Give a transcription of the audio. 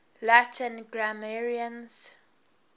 latin grammarians